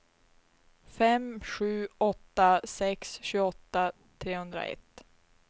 fem sju åtta sex tjugoåtta trehundraett